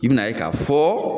I bɛna ye k'a fɔ.